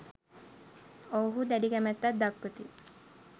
ඔවුහු දැඩි කැමැත්තක් දක්වති.